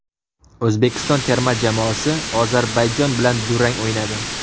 O‘zbekiston terma jamoasi Ozarbayjon bilan durang o‘ynadi.